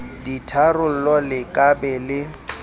ditharollo le ka be le